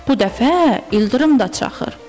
Bu dəfə ildırım da çaxır.